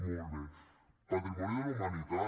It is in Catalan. molt bé patrimoni de la humanitat